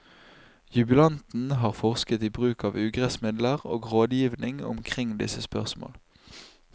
Jubilanten har forsket i bruk av ugressmidler og rådgivning omkring disse spørsmål.